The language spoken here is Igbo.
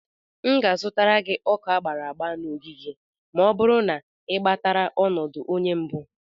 M ga-azụtara gị Ọka agbara agba na ogige ma ọ bụrụ na i gbatara ọnọdụ onye mbụ.